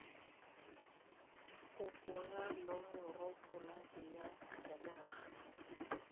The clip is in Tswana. kopo ya nomoropolata ya sejanaga